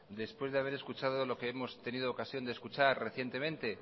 después de haber escuchado lo que hemos tenido ocasión de escuchar recientemente